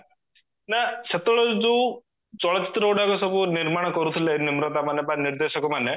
ନାଁ ସେତେବେଳେ ଯୋଉ ଚଳଚିତ୍ର ଗୁଡାକ ସବୁ ନିର୍ମାଣ କରୁଥିଲେ ନିମ୍ରାତା ମାନେ ବା ନିର୍ଦେଶକ ମାନେ